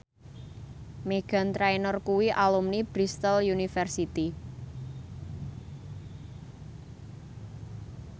Meghan Trainor kuwi alumni Bristol university